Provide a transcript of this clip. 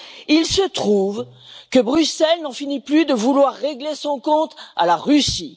Il se trouve que Bruxelles n'en finit plus de vouloir régler son compte à la Russie.